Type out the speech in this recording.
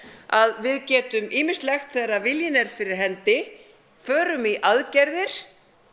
að við getum ýmislegt þegar viljinn er fyrir hendi förum í aðgerðir